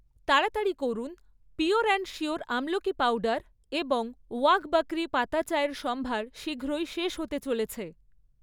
তাড়াতাড়ি করুন, pure and sure আমলকী পাউডার এবং ওয়াঘ বকরি পাতা চা এর সম্ভার শীঘ্রই শেষ হতে চলেছে৷